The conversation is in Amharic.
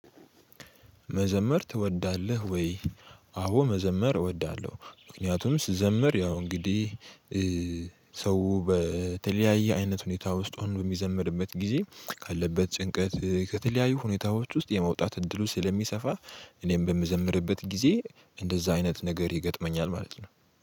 መዘመር ትወዳለህ ወይ? አዎ መዘመር እወዳለሁ ምክንያቱም ስዘመር ያው እንግዲህ ሰው በተለያየ አይነት ሁኔታ ውስጥ ሆኖ በሚዘመርበት ጊዜ ካለበት ጭንቀት ከተለያዩ ሁኔታዎች ውስጥ የመውጣት እድሉ ስለሚሰፋ እኔም በምዘምርበት ጊዜ እንደዛ አይነት ነገር ይገጥመኛል ማለት ነው